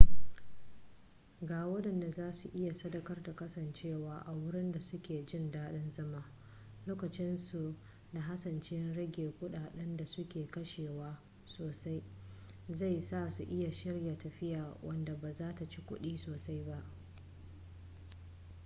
ga waɗanda za su iya sadaukar da kasancewa a wurin da su ke jin dadin zama lokacinsu da hasashen rage kudaden da su ke kashewa sosai zai sa su iya shirya tafiya wadda ba zata ci kudi sosai ba